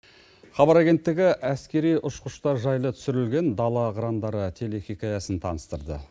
хабар агенттігі әскери ұшқыштар жайлы түсірілген дала қырандары телехикаясын таныстырды